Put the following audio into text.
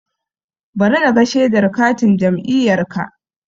Bari naga shedar katin jam'iyyarka